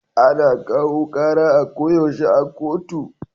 Ana kawo kara a ko yaushe a kotu